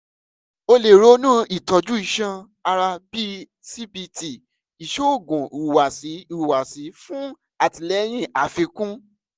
o le ronu itọju iṣan-ara bii cbt (iṣoogun ihuwasi ihuwasi) fun atilẹyin afikun